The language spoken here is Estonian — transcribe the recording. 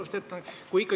Austatud ettekandja!